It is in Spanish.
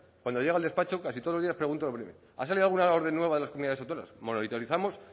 cuando llego al despacho casi todos los días pregunto lo primero ha salido alguna orden nueva de las comunidades autónomas monitorizamos